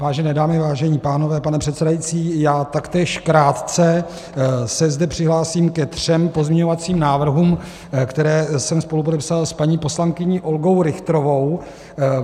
Vážené dámy, vážení pánové, pane předsedající, já taktéž krátce se zde přihlásím ke třem pozměňovacím návrhům, které jsem spolupodepsal s paní poslankyní Olgou Richterovou.